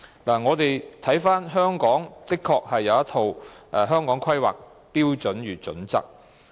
翻查資料，香港確實已制訂《香港規劃標準與準則》。